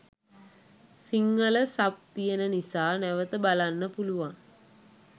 Sinhala sub තියෙන නිසා නැවත බලන්න පුලුවන්.